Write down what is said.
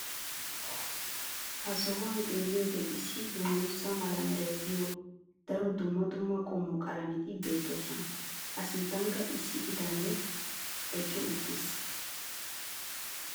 ha sohuwan xeelliyoode issi dangguza mala meray de'iyo daro dumma dumma qommo qalametti beetoosona. a sinttankka issi bitanee eqqi uttiis.